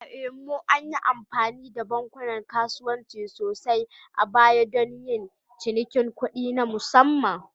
A Imo, an yi amfani da bankunan kasuwanci sosai a baya don yin cinikin kuɗi na musamman